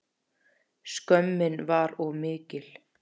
Skömmin var of mikil.